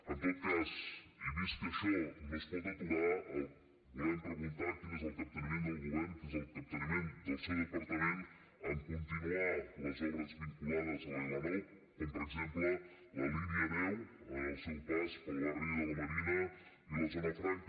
en tot cas i vist que això no es pot aturar volem preguntar quin és el capteniment del govern quin és el capteniment del seu departament a continuar les obres vinculades a la l9 com per exemple la línia deu al seu pas pel barri de la marina i la zona franca